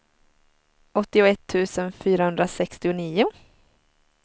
åttioett tusen fyrahundrasextionio